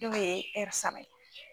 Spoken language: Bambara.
Dɔw ye saba ye.